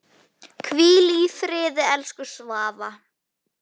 Hvíl í friði, elsku Svafa.